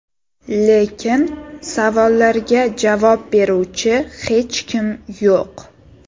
Lekin savollarga javob beruvchi hech kim yo‘q.